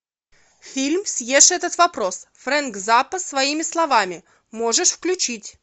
фильм съешь этот вопрос фрэнк заппа своими словами можешь включить